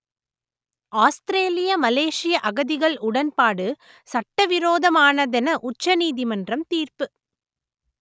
ஆஸ்திரேலிய மலேசிய அகதிகள் உடன்பாடு சட்டவிரோதமானதென உச்சநீதிமன்றம் தீர்ப்பு